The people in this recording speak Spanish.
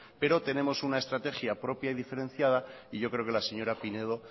pero tenemos una estrategia propia y diferenciada y yo creo que la señora pinedo